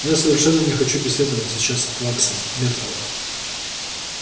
я совершенно не хочу беседовать сейчас с плаксой миртл